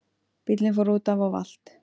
Bíllinn fór útaf og valt